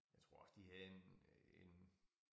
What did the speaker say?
Jeg tror også de havde en øh en